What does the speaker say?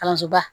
Kalansoba